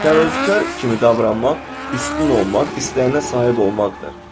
Təvəkkülkar kimi davranmaq, üstün olmaq istəyinə sahib olmaqdır.